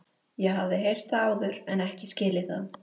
Ég hafði heyrt það áður en ekki skilið það.